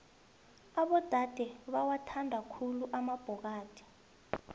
abodade bawathanda khulu amabhokadi